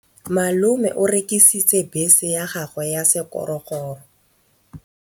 Malome o rekisitse bese ya gagwe ya sekgorokgoro.